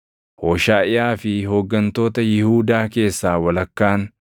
Hooshaʼiyaa fi hooggantoota Yihuudaa keessaa walakkaan,